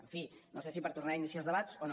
en fi no sé si per tornar a iniciar els debats o no